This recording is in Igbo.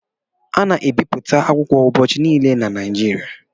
A na-ebipụta akwụkwọ ubọchị niile na Naịjirịa